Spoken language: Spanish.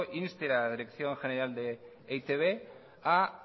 inste a la dirección general de e i te be a